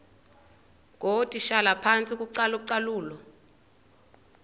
ngootitshala phantsi kocalucalulo